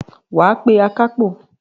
Wàá pé akápò